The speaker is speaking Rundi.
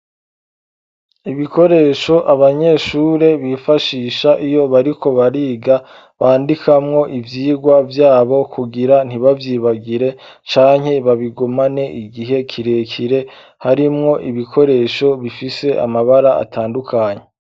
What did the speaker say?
Ibikoresho abanyeshure bifashisha iyo bariko bariga bandikamwo ivyigwa vyabo kugira ntibavyibagire canke babigumane igihe kirekire harimwo ibikoresho bifise amabara atandukanye.